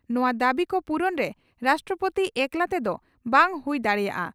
ᱱᱚᱣᱟ ᱫᱟᱹᱵᱤ ᱠᱚ ᱯᱩᱨᱩᱱᱨᱮ ᱨᱟᱥᱴᱨᱚᱯᱳᱛᱤ ᱮᱠᱞᱟ ᱛᱮᱫᱚ ᱵᱟᱝ ᱦᱩᱭ ᱫᱟᱲᱮᱭᱟᱜᱼᱟ ᱾